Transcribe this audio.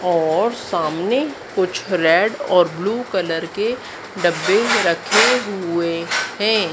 और सामने कुछ रेड और ब्लू कलर के डब्बे रखे हुए हैं।